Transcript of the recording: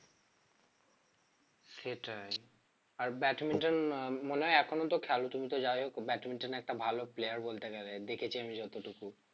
সেটাই আর ব্যাডমিন্টন আহ মনে হয় এখনো তো খেলো তুমি তো যাই হোক ব্যাডমিন্টনে একটা ভালো player বলতে গেলে দেখেছি আমি যতটুকু